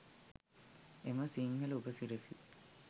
එම සිංහල උපසිරැසි